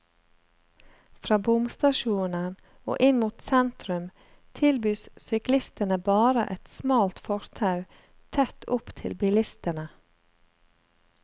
Fra bomstasjonen og inn mot sentrum tilbys syklistene bare et smalt fortau tett opp til bilistene.